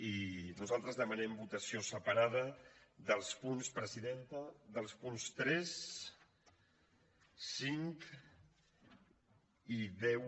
i nosaltres demanem votació separada dels punts presidenta tres cinc i deu